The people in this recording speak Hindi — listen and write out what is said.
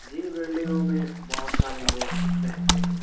जिन बिल्डिंगों में बहुत सारे लोग रहते हैं।